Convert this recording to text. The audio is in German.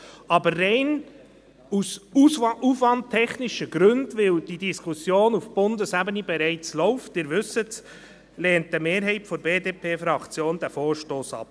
Aus rein aufwandtechnischen Gründen aber, weil die Diskussion auf Bundesebene bereits läuft – Sie wissen das –, lehnt eine Mehrheit der BDP-Fraktion den Vorstoss ab.